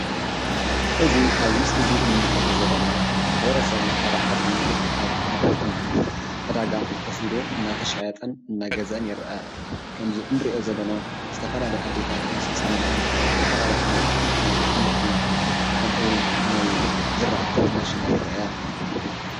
እዚ ኣብዚ ምስሊ እዚ ንምልከቶ ዘለና ማሕበረሰብ ናይ ሓደ ዓዲ ኣብ መዓልቲ ዕዳጋ ኮፍ ኢሉ እናተሻየጠን እና ገዝአን ይርአ ከም'ዚ ንሪኦ ዘለና ዝተፈላለያ ኣዶታት ምስ ህፃውንተን ዝተፈላለየ ዓይነት ናይ ኣሕምልቲ ከምኡ እዉን ናይ ዝረኣቲ እናሸጣ ይረአያ።